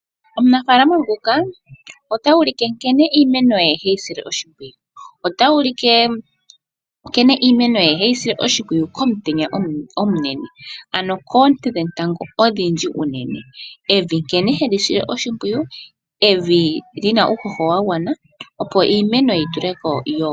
Omunafaalama nguka otuulike nkene iimeno ye heyi sile oshimpwiyu. Otuulike nkene iimeno ye heyi sile oshimpwiyu komutenya omunene ano koonte dhetango odhindji unene. Evi nkene heli sile oshipwiyu lina uuhoho wa gwana opo iimeno yituleko.